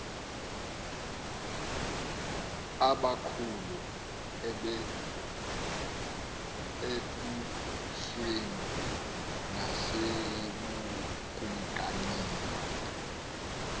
abakhulu embusweni nasebukamkanini